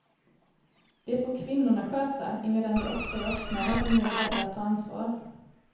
Det får kvinnorna sköta, emedan de ofta är öppnare och mer beredda att ta ansvar.